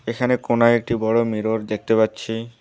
এখানে কোণায় একটি বড় মিরর দেখতে পাচ্ছি।